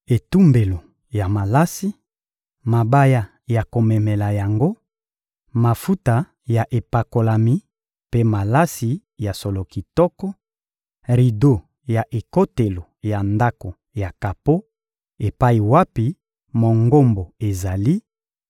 etumbelo ya malasi, mabaya ya komemela yango, mafuta ya epakolami mpe malasi ya solo kitoko, rido ya ekotelo ya ndako ya kapo epai wapi Mongombo ezali,